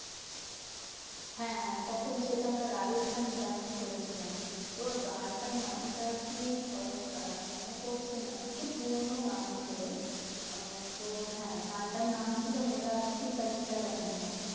হ্যাঁ হ্যাঁ তখন সেটা আমরা রাজস্থানী dance করে ছিলাম। তোর গানটার নামটা কি ধরো? দাঁড়া মনে পড়ছে না। একটু পুরোনো গান ছিল। আহ তোর হ্যাঁ গানটার নাম ছিল